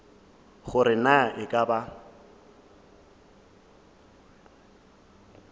gore na e ka ba